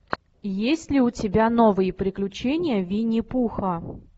есть ли у тебя новые приключения винни пуха